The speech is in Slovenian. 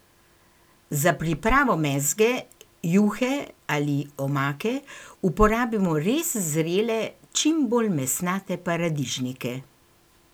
Za pripravo mezge, juhe ali omake uporabimo res zrele, čim bolj mesnate paradižnike.